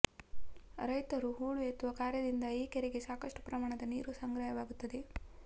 ರೈತರು ಹೂಳು ಎತ್ತುವ ಕಾರ್ಯದಿಂದ ಈ ಕೆರೆಗೆ ಸಾಕಷ್ಟು ಪ್ರಮಾಣದ ನೀರು ಸಂಗ್ರಹವಾಗುತ್ತದೆ